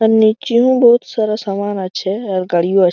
আর নিচেও বহুত সারা সামান আছে আর গাড়িও আ--